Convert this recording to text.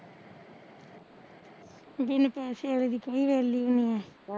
ਦਿਨ ਪੈਸੇ ਵਾਲੇ ਵੀ ਚਾਹੀਦੇ ਐ ਏਲੇ ਵੀ ਨੀ ਐ